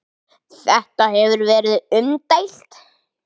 Þetta hefur verið umdeilt.